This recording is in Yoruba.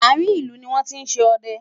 àrin ìlú ní wọn tí ṣé odẹ